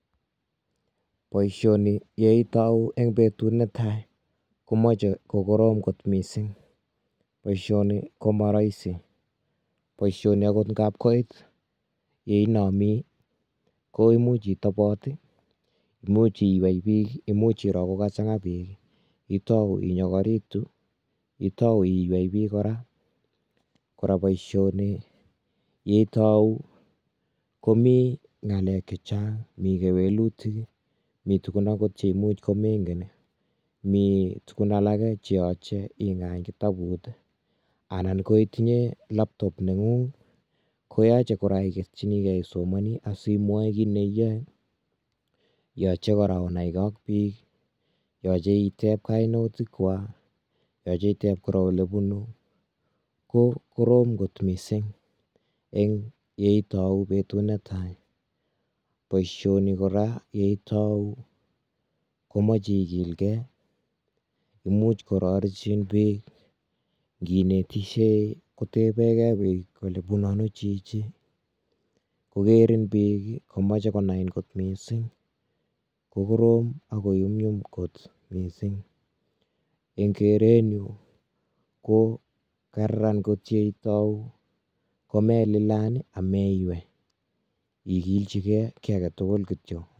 Boishoni yeitou eng betut netai komoche kokorom kot mising. Boishoni ko ma rahisi. Boishoni akot nkap koit yeinomi ko imuch itobot, imuch iywei biik, imuch iro kokachang'a biik, itou inyokoritu, itou iywei biik kora, kora boishoni yeitou komi ng'alek chechang, mi kewelutik, mi tuguk akot cheimuch komenken, mi tukun alake cheyoche ing'any kitabut anan ko itinye laptop neng'ung koyoche kora iketchinikei isomoni asimwoe kit neiyoe. Yoche kora onaikei ak biik, yoche itep kainautikwa, yoche kora itep olebunu, ko korom kot mising eng yeitou betut netai. Boishoni kora yeitou komoche ikilkei, imuch kororechin biik, nkinetishei kotebekei biik kole bunu ano chichi, kokerin biik komeche konain kot mising ko korom akoyumyum kot mising. Eng kerenyu ko kararan kot yeitou ko melilan ameiwei, ikilchikei kiy aketukul kityo.